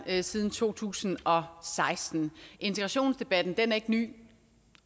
her siden to tusind og seksten integrationsdebatten er ikke ny